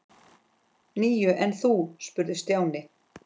Níu, en þú? spurði Stjáni.